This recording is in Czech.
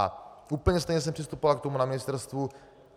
A úplně stejně jsem přistupoval k tomu na ministerstvu.